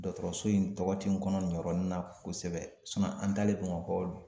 Dɔgɔtɔrɔso in tɔgɔ tɛ n kɔnɔ nin yɔrɔnin na kosɛbɛ an talen Bamakɔ